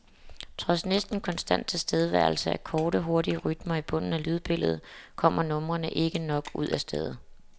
Trods næsten konstant tilstedeværelse af korte, hurtige rytmer i bunden af lydbilledet, kommer numrene ikke nok ud af stedet.